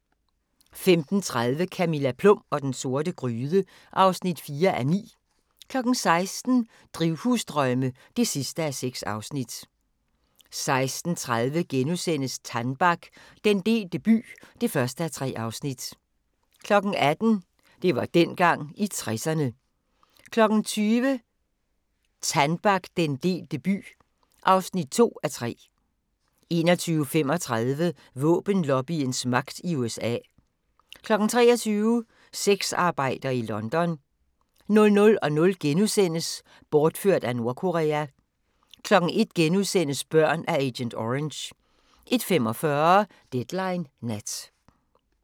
15:30: Camilla Plum og den sorte gryde (4:9) 16:00: Drivhusdrømme (6:6) 16:30: Tannbach - den delte by (1:3)* 18:00: Det var dengang – i 60'erne 20:00: Tannbach - den delte by (2:3) 21:35: Våbenlobbyens magt i USA 23:00: Sexarbejder i London 00:00: Bortført af Nordkorea * 01:00: Børn af agent orange * 01:45: Deadline Nat